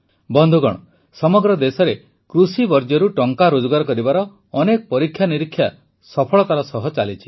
ବନ୍ଧୁଗଣ ସମଗ୍ର ଦେଶରେ କୃଷି ବର୍ଜ୍ୟରୁ ଟଙ୍କା ରୋଜଗାର କରିବାର ଅନେକ ପରୀକ୍ଷାନିରୀକ୍ଷା ସଫଳତାର ସହ ଚାଲିଛି